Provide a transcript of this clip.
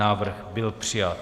Návrh byl přijat.